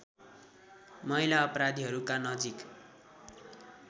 महिला अपराधीहरूका नजिक